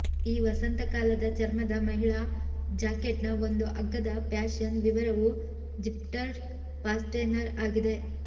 ಈ ವಸಂತಕಾಲದ ಚರ್ಮದ ಮಹಿಳಾ ಜಾಕೆಟ್ನ ಒಂದು ಅಗ್ಗದ ಫ್ಯಾಶನ್ ವಿವರವು ಝಿಪ್ಟರ್ಡ್ ಫಾಸ್ಟೆನರ್ ಆಗಿದೆ